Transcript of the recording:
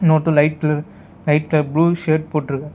இன்னொருத்தர் light colour light colour blue shirt போட்ருக்காரு.